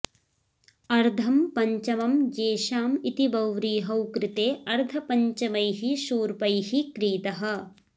अर्धं पञ्चमं येशाम् इति बहुव्रीहौ कृते अर्धपञ्चमैः शूर्पैः क्रीतः